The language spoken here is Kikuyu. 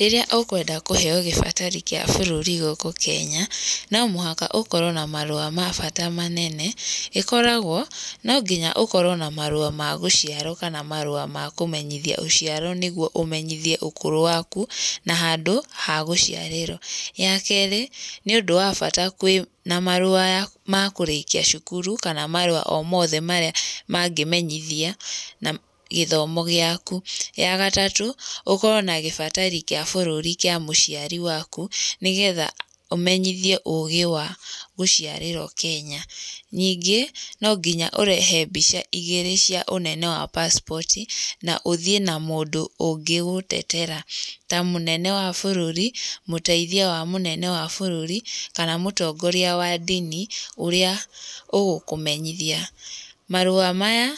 Rĩrĩa ũkwenda kũheo gĩbatari kĩa bũrũri gũkũ Kenya, no mũhaka ũkorwo na marũa ma bata manene. ĩkoragwo, no nginya ũkorwo na marũa ma gũciarwo kana marũa ma kũmenyithia ũciaro nĩguo ũmenyithie ũkũrũ waku, na handũ ha gũciarĩrwo. Ya kerĩ, nĩũndũ wa bata kwĩna marũa ma kũrĩkia cukuru kana marũa o mothe marĩa mangĩmenyithia gĩthomo gĩaku. Ya gatatũ, ũkorwo na gĩbatari kĩa bũrũri kĩa mũciari waku nĩgetha ũmenyithie ũgĩ wa gũciarĩrwo Kenya. Ningĩ, no nginya ũrehe mbica igĩrĩ cia ũnene wa passport na ũthiĩ na mũndũ ũngĩgũtetera, ta mũnene wa bũrũri, mũteithia wa mũnene wa bũrũri, kana mũtongoria wa ndini ũrĩa ũgũkũmenyithia. Marũa maya